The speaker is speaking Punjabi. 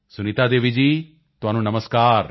ਸੁਨੀਤਾ ਦੇਵੀ ਜੀ ਤੁਹਾਨੂੰ ਨਮਸਕਾਰ